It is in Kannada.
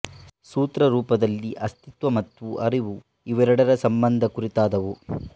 ಸೂತ್ರ ರೂಪದಲ್ಲಿ ಅಸ್ತಿತ್ವ ಮತ್ತು ಅರಿವು ಇವೆರಡರ ಸಂಬಂಧ ಕುರಿತಾದವು